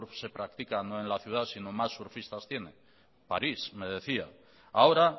surf se practica no en la ciudad sino más surfistas tiene parís me decía ahora